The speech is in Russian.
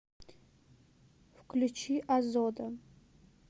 включи озода